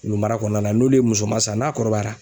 Wulumara kɔnɔna na n'olu ye musoma san n'a kɔrɔbayara